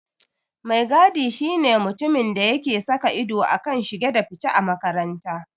Mai gadi shi ne mutumin da yake saka ido a kan shige da fice a makaranta.